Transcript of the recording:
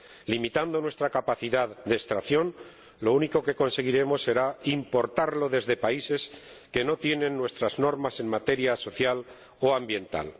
Limitando nuestra capacidad de extracción lo único que conseguiremos será importarlo desde países que no tienen nuestras normas en materia social o ambiental.